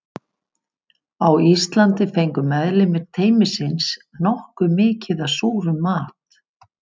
Á Íslandi fengu meðlimir teymisins nokkuð mikið af súrum mat.